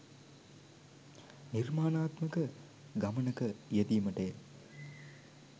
නිර්මාණාත්මක ගමනක යෙදීමටය.